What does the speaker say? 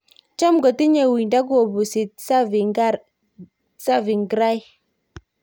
Cham kotinye uindo kobuusi Tsavingrai